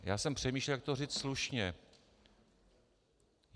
Já jsem přemýšlel, jak to říct slušně.